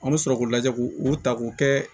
An bɛ sɔrɔ k'u lajɛ k'u u ta k'u kɛ